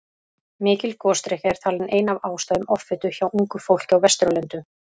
Mikil gosdrykkja er talin ein af ástæðum offitu hjá ungu fólki á Vesturlöndum.